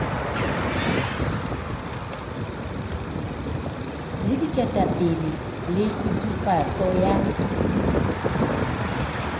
le diketapele le kgutsufatso ya